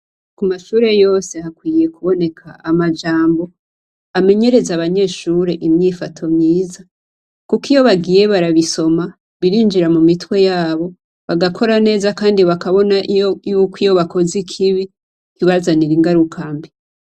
Ku mashure yose hakwiriye kuboneka amajambo amenyereza abanyeshure imyifato myiza. Kuko iyo bagiye barabisoma birinjira mu mitwe yabo, bagakora neza kandi bakabona yuko iyo bakoze ikibi, bibazanira ingaruka mbi.